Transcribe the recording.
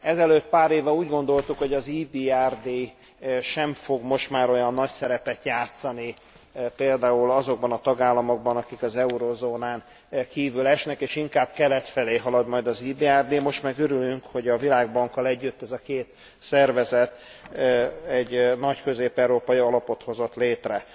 Ezelőtt pár évvel úgy gondoltuk, hogy az EBRD sem fog olyan nagy szerepet játszani például azokban a tagállamokban, akik az eurózónán kívül esnek, és inkább kelet felé halad majd az EBRD, most meg örülünk, hogy a Világbankkal együtt ez a két szervezet egy nagy közép európai alapot hozott létre.